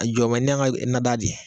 A jɔ bɛɛ n' an ka, na da je.